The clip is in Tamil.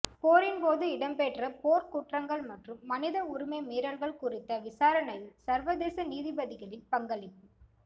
போரின்போது இடம்பெற்ற போர்க்குற்றங்கள் மற்றும் மனித உரிமை மீறல்கள் குறித்த விசாரணையில் சர்வதேச நீதிபதிகளின் பங்களிப்பு